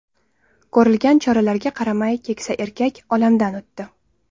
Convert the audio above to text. Ko‘rilgan choralarga qaramay, keksa erkak olamdan o‘tdi.